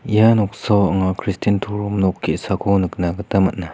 ia noksao anga kristian torom nok ge·sako nikna gita man·a.